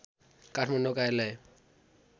काठमाडौँ कार्यालय